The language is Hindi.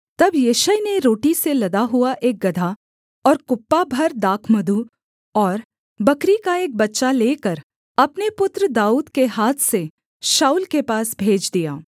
तब यिशै ने रोटी से लदा हुआ एक गदहा और कुप्पा भर दाखमधु और बकरी का एक बच्चा लेकर अपने पुत्र दाऊद के हाथ से शाऊल के पास भेज दिया